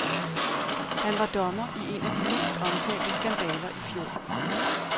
Han var dommer i en af de mest omtalte skandaler i fjor.